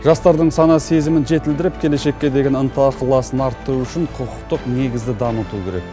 жастардың сана сезімін жетілдіріп келешекке деген ынта ықыласын арттыру үшін құқықтық негізді дамыту керек